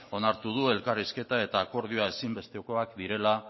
onartu du elkarrizketa eta akordioa ezinbestekoak direla